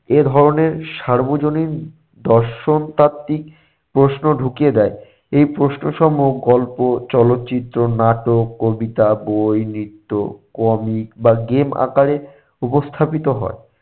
এ ধরনের সার্বজনীন দর্শন তাত্ত্বিক প্রশ্ন ঢুকিয়ে দেয়। এই প্রশ্ন সমূহ গল্প চলচ্চিত্র নাটক কবিতা বই নৃত্য comic বা game আকারে উপস্থাপিত হয়।